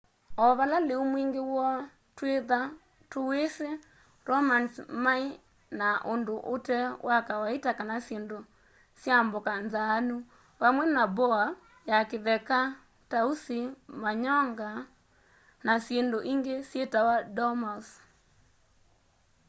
o vala lîu mwîngî woo twîthwa tûwîsî romans maî na undu ute wa kawaita kana syindu sya mboka nzaanu vamwe na boar ya kitheka tausi manyonga na syindu ingi syitawa dormouse